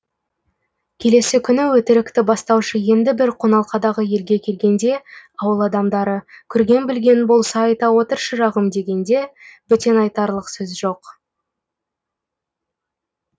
келесі күні өтірікті бастаушы енді бір қоналқадағы елге келгенде ауыл адамдары көрген білгенің болса айта отыр шырағым дегенде бөтен айтарлық сөз жоқ